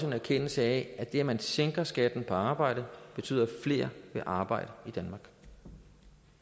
en erkendelse af at det at man sænker skatten på arbejde betyder at flere vil arbejde i danmark